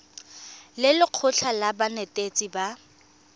le lekgotlha la banetetshi ba